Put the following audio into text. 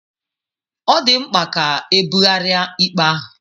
Ọ dị mkpa ka ebugharịa ikpe ahụ.